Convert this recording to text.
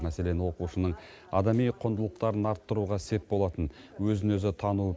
мәселен оқушының адами құндылықтарын арттыруға сеп болатын өзін өзі тану